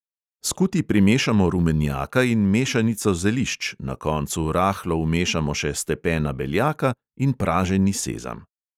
Skuti primešamo rumenjaka in mešanico zelišč, na koncu rahlo vmešamo še stepena beljaka in praženi sezam.